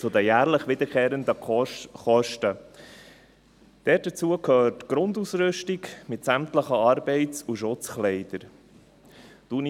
Zu den jährlich wiederkehrenden Kosten: Dazu gehört die Grundausrüstung, mit sämtlichen Arbeits- und Schutzkleidern.